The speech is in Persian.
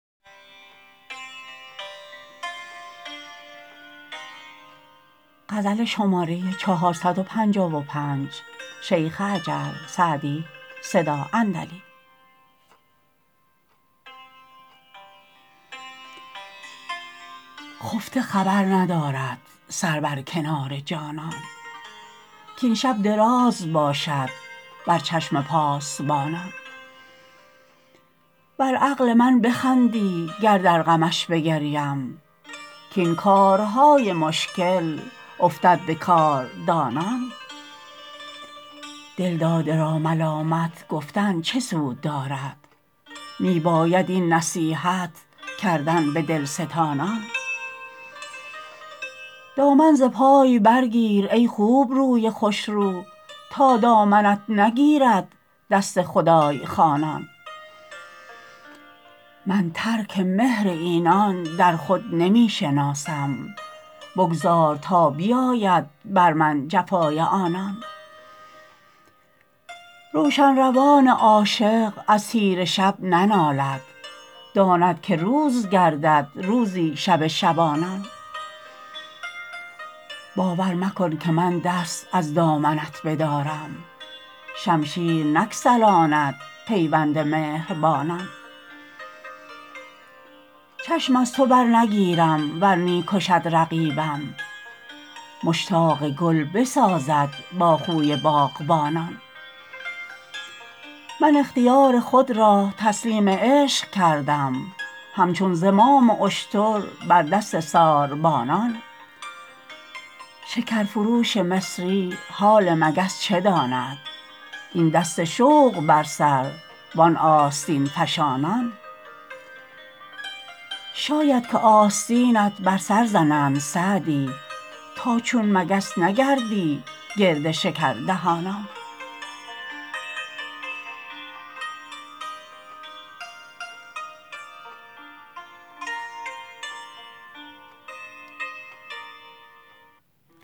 خفته خبر ندارد سر بر کنار جانان کاین شب دراز باشد بر چشم پاسبانان بر عقل من بخندی گر در غمش بگریم کاین کارهای مشکل افتد به کاردانان دلداده را ملامت گفتن چه سود دارد می باید این نصیحت کردن به دلستانان دامن ز پای برگیر ای خوبروی خوشرو تا دامنت نگیرد دست خدای خوانان من ترک مهر اینان در خود نمی شناسم بگذار تا بیاید بر من جفای آنان روشن روان عاشق از تیره شب ننالد داند که روز گردد روزی شب شبانان باور مکن که من دست از دامنت بدارم شمشیر نگسلاند پیوند مهربانان چشم از تو برنگیرم ور می کشد رقیبم مشتاق گل بسازد با خوی باغبانان من اختیار خود را تسلیم عشق کردم همچون زمام اشتر بر دست ساربانان شکرفروش مصری حال مگس چه داند این دست شوق بر سر وان آستین فشانان شاید که آستینت بر سر زنند سعدی تا چون مگس نگردی گرد شکردهانان